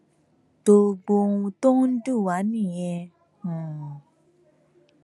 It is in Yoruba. gbogbo ohun tó ń dùn wá nìyẹn um